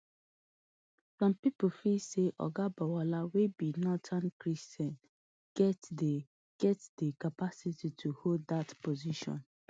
some pipo feel say oga bwala wey be northern christian get di get di capacity to hold dat position